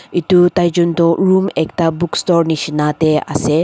etu taijen toh room ekta bookstore nishena te ase.